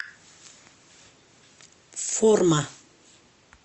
форма